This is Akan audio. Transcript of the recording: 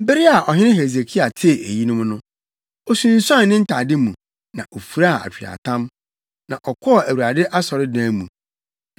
Bere a ɔhene Hesekia tee eyinom no, osunsuan ne ntade mu, na ofuraa atweaatam, na ɔkɔɔ Awurade asɔredan mu.